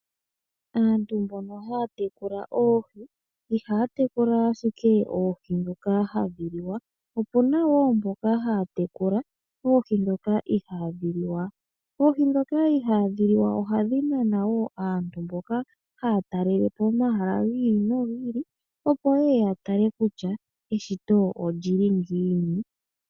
Aantu mbono haa tekula oohi ihaya tekula ashike oohi ndhoka hadhi liwa. Opu na woo mboka haa tekula oohi ndhoka ihaadhi liwa. Ndhono ihaadhi liwa ohadhi nana aantu mboka haa talelepo omahala gi ili no gi ili opo yeye yatale kutya eshito olyili ngiini.